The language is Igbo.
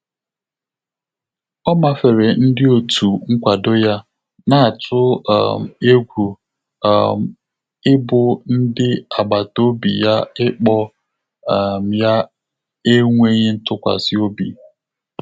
Ọ́ màférè ndị́ òtù nkwàdò yá, nà-àtụ́ um égwú um ị́bụ́ ndị́ àgbàtà òbí yá ị́kpọ́ um yá énwéghị́ ntụ́kwàsị́ óbí.